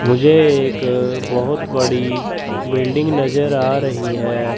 मुझे एक बहोत बड़ी बिल्डिंग नजर आ रही है।